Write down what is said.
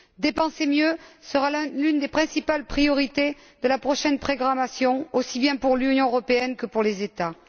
Dépenser mieux sera l'une des principales priorités de la prochaine programmation, aussi bien pour l'Union européenne que pour les États.